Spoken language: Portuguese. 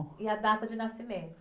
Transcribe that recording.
E a data de nascimento?